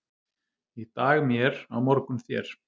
Í dag mér, á morgun þér.